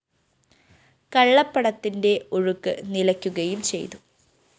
കള്ളപ്പണത്തിന്റെ ഒഴുക്ക് നിലയ്ക്കുകയും ചെയ്തു